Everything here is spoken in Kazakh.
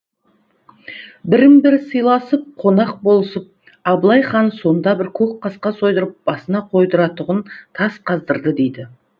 бірін бірі сыйласып қонақ болысып абылай хан сонда бір көк қасқа сойдырып басына қойдыратұғын тас қаздырды дейді